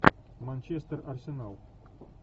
манчестер арсенал